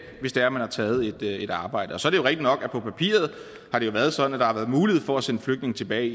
hvis det er at man har taget et arbejde så er det rigtigt nok at på papiret har det været sådan at der har været mulighed for at sende flygtninge tilbage